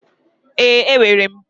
Ee, enwere m.